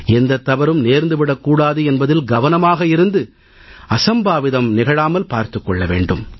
எந்தத் தவறும் நேர்ந்து விடக் கூடாது என்பதில் கவனமாக இருந்து அசம்பாவிதம் நிகழாமல் பார்த்துக் கொள்ள வேண்டும்